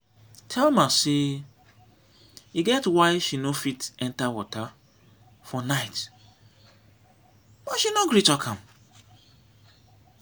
thelma say e get why she no fit enter water for night but she no gree talk am